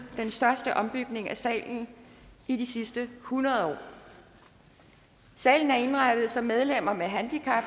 den største ombygning af salen i de sidste hundrede år salen er indrettet så medlemmer med handicap